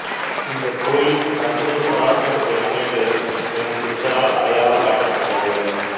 இந்தக் கோயில் சற்குரு சதாசிவ பிரம்மேந்திரர் எனும் சித்தரால் அடையாளம் காட்டப்பட்டது